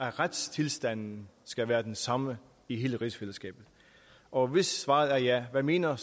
at retstilstanden skal være den samme i hele rigsfællesskabet og hvis svaret er ja hvad mener